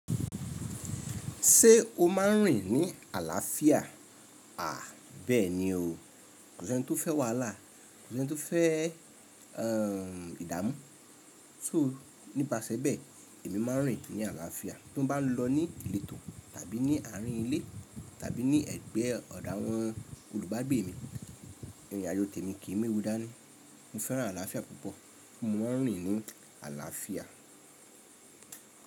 Ṣé o máa ń rìn ní àlàáfíà? À, bẹ́ẹ̀ ni o. Kò sí e ni tó fẹ́ wàhálà, kò sí eni tó fẹ́ ermm ìdáàmú́. So nípasẹ̀ bẹ́ẹ̀, èmi máa ń rìn ní àlàáfíà. Bí mo bá lọ ní ìletò tàbí ní àárín ilé tàbí ní ẹ̀gbẹ́ ọ̀do wọn olùbágbè mi, ìrìn àjò tẹ̀mi kì í méwú dání Mo fẹ́ràn àlàáfíà púpọ̀, mo máa ń rìn ní àlàáfíà.